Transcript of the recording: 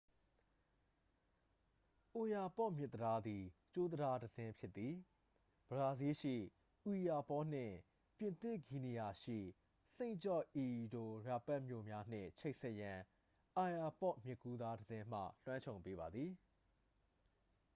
အိုယာပေါ့မြစ်တံတားသည် ကြိုးတံတားတစ်စင်း ဖြစ်သည် ဘရာဇီးလ်ရှိ အွီယာပေါ နှင့် ပြင်သစ်ဂီနီယာရှိ စိန့်ဂျော့ဒီအီအိုယာပက် မြို့များနှင့် ချိတ်ဆက်ရန် အိုယာပေါ့မြစ်ကူးတစ်တံတားက လွှမ်းခြုံပေးပါသည်